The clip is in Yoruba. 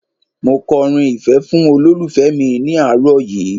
Mo kọrin ìfẹ́ fún olólùfẹ́ mi ní àárọ̀ yìí